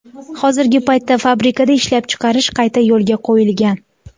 Hozirgi paytda fabrikada ishlab chiqarish qayta yo‘lga qo‘yilgan.